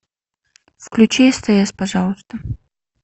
включи стс пожалуйста